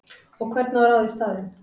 Og hvern á að ráða í staðinn?!